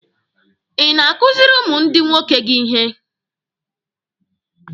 Ị na-akụzịrị ụmụ ndị nwoke gị ihe?